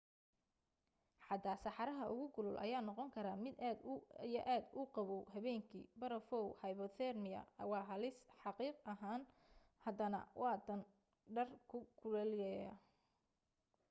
xataa saxaraha ugu kulul ayaa noqon karaa mid aad iyo aad u qaboow habeenki. barafow hypothermia waa halis xaqiiq ah hadaadan wadan dhar ku kululeeya